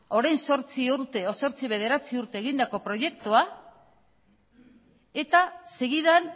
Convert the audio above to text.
orain zortzi urte zortzi bederatzi urte egindako proiektua eta segidan